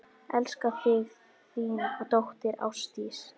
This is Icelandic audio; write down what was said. Elska þig, þín dóttir, Ásdís.